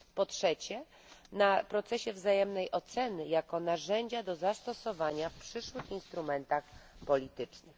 po trzecie koncentruje się na procesie wzajemnej oceny jako narzędziu do zastosowania w przyszłych instrumentach politycznych.